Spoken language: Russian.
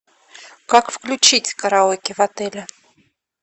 как включить караоке в отеле